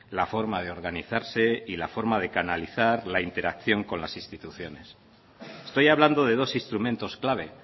la forma de organizarse y la forma de canalizar la interacción con las instituciones estoy hablando de dos instrumentos clave